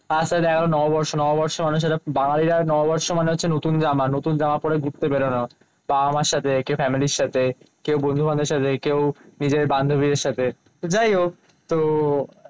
তার সাথে দেখা গেলো নববর্ষ। নববর্ষ অনুসারে বাঙালিরা নববর্ষ মানে হচ্ছে নতুন জামা নতুন জামা পরে ঘুরতে বেরোনো বাবা মার সাথে, কেউ ফ্যামিলির সাথে, কেউ বন্ধু বান্ধবের সাথে, কেউ নিজের বান্ধবীর সাথে। তো যাই হোক